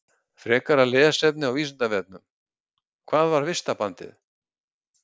Frekara lesefni á Vísindavefnum: Hvað var vistarbandið?